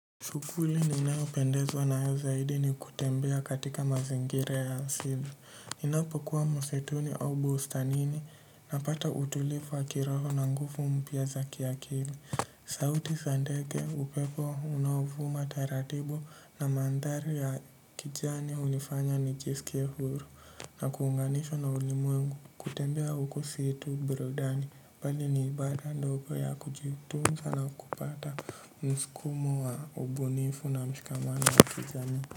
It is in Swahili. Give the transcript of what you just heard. Shughuli ninao pendezwa nayo zaidi ni kutembea katika mazingira ya asili. Ninapokuwa msituni au bustanini napata utulivu wa kiroho na nguvu mpya za kiakili. Sauti za ndege upepo unaovuma taratibu na mandhari ya kijani unifanya nijisikie huru na kuunganishwa na ulimwengu kutembea huko si tu burudani. Bali ni ibada ndogo ya kujitunza na kupata msukumo wa ubunifu na mshikamano wa kijamii.